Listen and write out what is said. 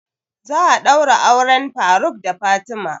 Za a ɗaura auren faruk da fatima